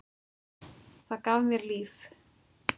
Það gaf mér líf.